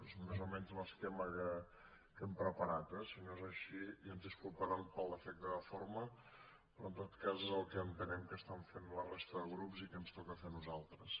és més o menys l’esquema que hem preparat eh si no és així ja ens disculparan pel defecte de forma però en tot cas és el que entenem que fan la resta de grups i que ens toca fer a nosaltres